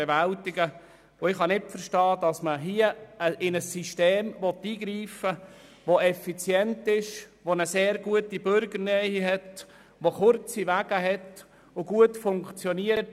Ich kann nicht verstehen, dass man in ein System eingreifen will, das effizient ist, eine sehr gute Bürgernähe sowie kurze Wege hat und gut funktioniert.